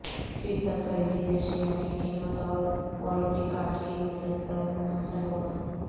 فی صد خریدی اشیا کی قیمت اور وارنٹی کارڈ کی مدت پر منحصر ہوگا